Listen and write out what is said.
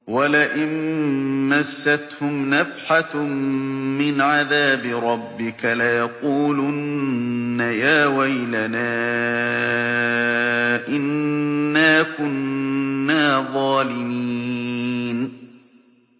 وَلَئِن مَّسَّتْهُمْ نَفْحَةٌ مِّنْ عَذَابِ رَبِّكَ لَيَقُولُنَّ يَا وَيْلَنَا إِنَّا كُنَّا ظَالِمِينَ